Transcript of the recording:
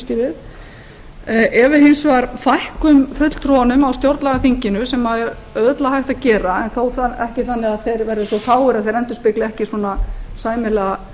við ef hins vegar við fækkum fulltrúunum á stjórnlagaþinginu sem er örugglega hægt að gera en þó ekki þannig að þeir verði svo fáir að þeir endurspegli ekki sæmilega